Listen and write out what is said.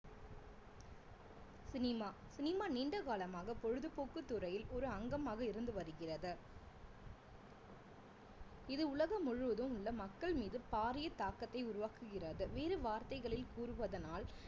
cinema cinema நீண்ட காலமாக பொழுதுபோக்கு துறையில் ஒரு அங்கமாக இருந்து வருகிறது இது உலகம் முழுவதும் உள்ள மக்கள் மீது பாரிய தாக்கத்தை உருவாக்குகிறது வேறு வார்த்தைகளில் கூறுவதனால்